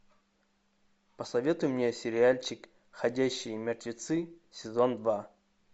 посоветуй мне сериальчик ходячие мертвецы сезон два